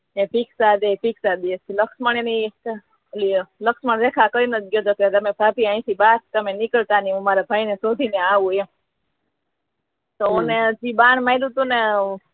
ભિક્ષા દે ભિક્ષા દે લક્ષ્મણ એ લક્ષ્મણ રેખા કરીને તમે ભાભી અહિ થી બાહર તમે નીકળતા નહી હું મારા ભાઈ ને શોધી ને આવુ એમ તો ને બાહર પ